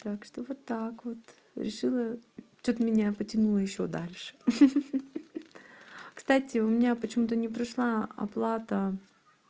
так что вот так вот решила что-то меня потянуло ещё дальше ха-ха кстати у меня почему-то не прошла оплата